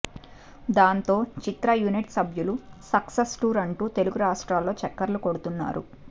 దాంతో చిత్ర యూనిట్ సభ్యులు సక్సెస్ టూర్ అంటూ తెలుగు రాష్ట్రాల్లో చక్కర్లు కొడుతున్నారు